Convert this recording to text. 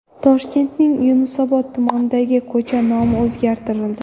Toshkentning Yunusobod tumanidagi ko‘cha nomi o‘zgartirildi.